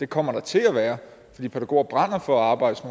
kommer til at være det fordi pædagoger brænder for at arbejde